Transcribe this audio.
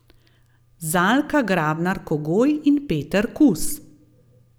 Zalka Grabnar Kogoj in Peter Kus.